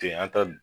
Ten an ta nin